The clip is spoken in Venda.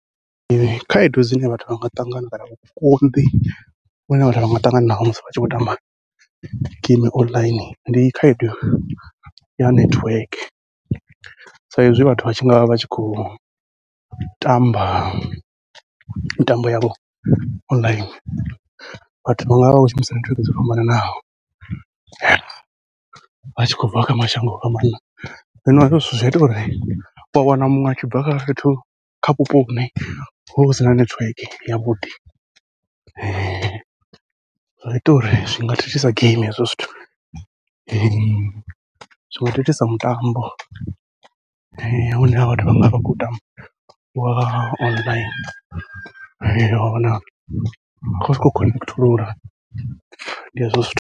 Khaedu dzine vhathu vha nga ṱangana kana vhukonḓi vhune vhathu vha nga ṱangana naho musi vha tshi khou tamba geimi online, ndi khaedu ya nethiweke. Sa izwi vhathu vha tshi ngavha vha tshi khou u tamba mitambo yavho online, vhathu vha ngavha vha khou shumisa nethiweke dzo fhambananaho, vha tshi khou bva kha mashango o fhambanana, zwino hezwo zwithu zwi ita uri ua wana muṅwe atshi bva fhethu kha vhupo vhune huvha hu sina nethiweke yavhuḓi. Zwa ita uri zwi nga thithisa geimi hezwo zwithu, zwi zwinga thithisa mutambo une vhathu vhanga vha khou tamba wa online wa wana a khou sokou khonethulula ndi hezwo zwithu.